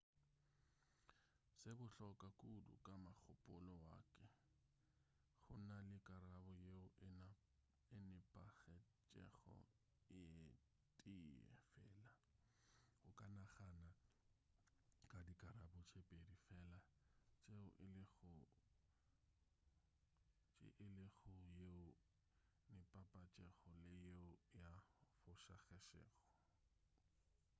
se bohlokwa kudu ka mogopolo wa ke go na le karabo yeo e nepagetšego ye tee fela o ka nagana ka dikarabo tše pedi fela tšeo e le go yeo e nepagetšego le yeo e fošagetšego